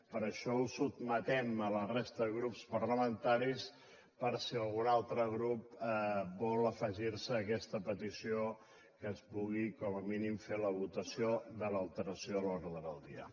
per això ho sotmetem a la resta de grups parlamentaris per si algun altre grup vol afegir se a aquesta petició que es pugui com a mínim fer la votació de l’alteració de l’ordre del dia